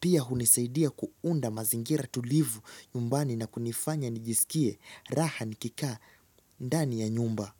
Pia hunisaidia kuunda mazingira tulivu nyumbani na kunifanya nijisikie raha nikikaa ndani ya nyumba.